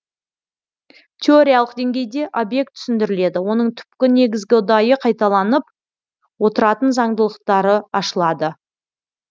теориялық деңгейде объект түсіндіріледі оның түпкі негізгі ұдайы қайталанып отыратын заңдылықтары ашылады